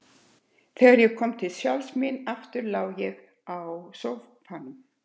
Þegar ég kom til sjálfs mín aftur lá ég á sófanum.